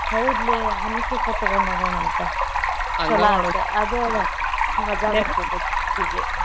ಹೌದ್ಲೇ honey cake ತುಗೋಂಡ ಹೋಗುಣಂತ ಚೊಲೋ ಆತ ಅದ ಅಲಾ ಮಜಾ ಬರ್ತೆತಿ ಅಕಿಗೆ.